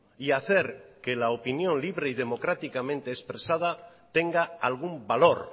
y hacer que la opinión libre y democráticamente expresada tenga algún valor